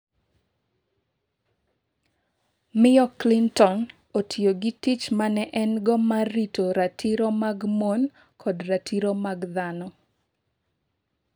Miyo Klintonne otiyo gi tich ma ne en-go mar rito ratiro mag mon kod ratiro mag dhano.